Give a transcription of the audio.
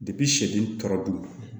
tɔrɔdon